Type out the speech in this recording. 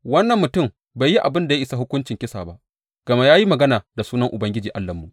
Wannan mutum bai yi abin da ya isa hukuncin kisa ba, gama ya yi magana da sunan Ubangiji Allahnmu.